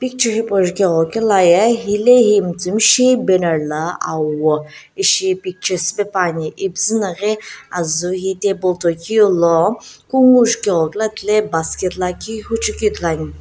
ju hipou jughakulo ye helae he miitsiim shi banner la awo ischi picture shiipae pane ipuzu naghi azu hetable tomeu lo kungho basket huchui ku ithulu ane.